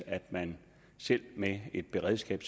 at man selv med et beredskab